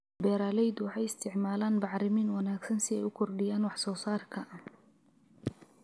Beeraleydu waxay isticmaalaan bacrimin wanaagsan si ay u kordhiyaan wax soo saarka.